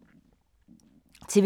TV 2